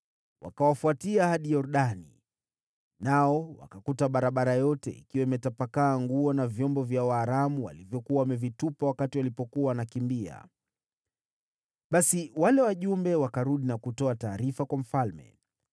Wakawafuatia hadi Yordani, nao wakakuta barabara yote ikiwa imetapakaa nguo na vyombo vya Waaramu walivyokuwa wamevitupa walipokuwa wanatoroka. Basi wale wajumbe wakarudi na kutoa taarifa kwa mfalme.